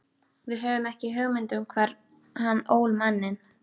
Við höfðum ekki hugmynd um hvar hann ól manninn.